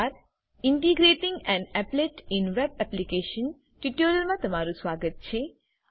integrating an applet in a web application ટ્યુટોરીયલમાં તમારું સ્વાગત છે